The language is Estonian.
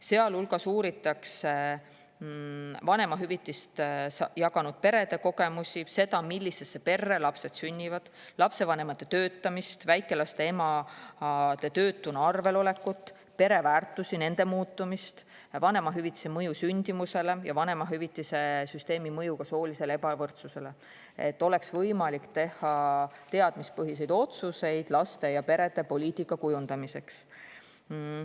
Sealhulgas uuritakse vanemahüvitist jaganud perede kogemusi, seda, millisesse perre lapsed sünnivad, lapsevanemate töötamist, väikelaste emade töötuna arvel olekut, pereväärtusi, nende muutumist, vanemahüvitise mõju sündimusele ja vanemahüvitise süsteemi mõju soolisele ebavõrdsusele, et oleks võimalik teha teadmispõhiseid otsuseid laste ja perede poliitika kujundamiseks.